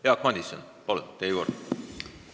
Jaak Madison, palun, teie kord!